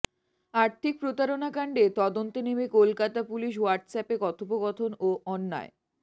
আর্থিক প্রতারণা কাণ্ডে তদন্তে নেমে কলকাতা পুলিশ হোয়াটস্যাপে কথোপকথন ও অন্যান্য়